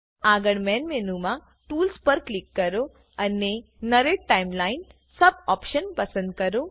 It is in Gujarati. આગળ મેન મેનુ મા ટૂલ્સ પર ક્લિક કરો અને નર્રતે ટાઇમલાઇનના sub optionપસંદ કરો